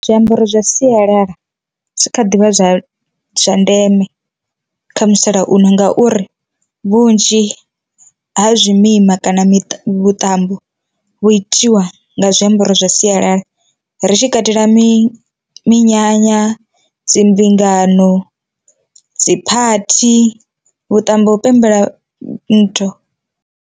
Zwiambaro zwa sialala zwi kha ḓivha zwa ndeme kha musalauno, ngauri vhunzhi ha zwi mima kana miṱa vhuṱambo hu itiwa nga zwiambaro zwa sialala, ri tshi katela mi minyanya, dzimbingano, dziphathi, vhuṱambo hu pembela nthu.